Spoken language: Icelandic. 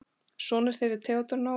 Sonur þeirra er Theodór Nói.